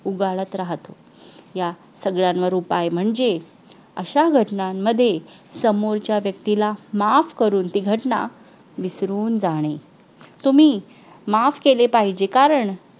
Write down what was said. उगाळत राहतात या सगळ्यांवर उपाय म्हणजे अशा घटनांमध्ये समोरच्या व्यक्तीला माफ करून ती घटना विसरून जाणे तुम्ही माफ केले पाहिजे कारण